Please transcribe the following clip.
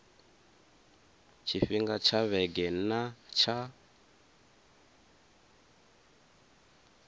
tshifhinga tsha vhege nna tsha